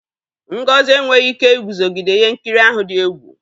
Ngozi enweghị ike iguzogide ihe nkiri ahụ dị egwu.